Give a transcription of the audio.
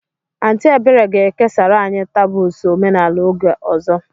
Aunty Ebere ga-ekesara anyị taboos omenala oge ọzọ.